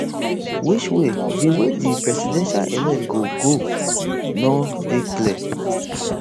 which way di way di presidential elect go go no dey clear